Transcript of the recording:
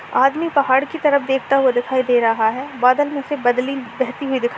आदमी पहाड़ की तरफ देखता हुआ दिखाई दे रहा है बादल में से बदली बहती हुई--